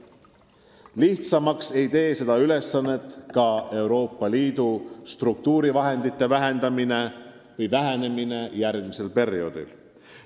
Lihtsamaks ei tee seda ülesannet Euroopa Liidu struktuurivahendite vähenemine järgmisel perioodil.